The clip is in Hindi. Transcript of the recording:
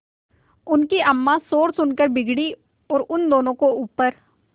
उनकी अम्मां शोर सुनकर बिगड़ी और दोनों को ऊपर